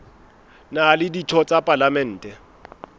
na le ditho tsa palamente